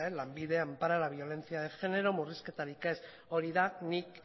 lanbide ampara la violencia de género murrizketarik ez hori da nik